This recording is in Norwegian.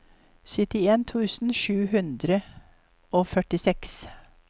syttien tusen sju hundre og førtiseks